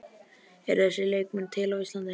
Eru þessir leikmenn til á Íslandi?